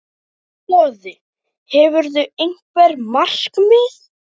Boði: Hefurðu einhver markmið?